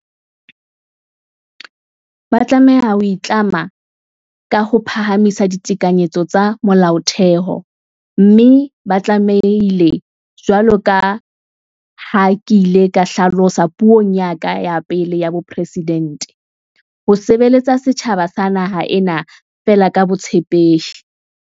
Ba tlameha ho itlama ka ho phahamisa ditekanyetso tsa Molaotheo, mme ba tlame hile, jwalo ka ha ke ile ka hla losa puong ya ka ya pele ya bopresidente, "ho sebeletsa setjhaba sa naha ena feela ka botshepehi".